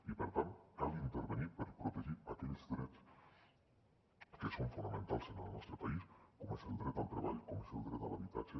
i per tant cal intervenir per protegir aquells drets que són fonamentals en el nostre país com és el dret al treball com és el dret a l’habitatge